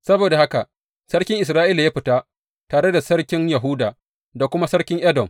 Saboda haka sarkin Isra’ila ya fita tare da sarkin Yahuda, da kuma sarkin Edom.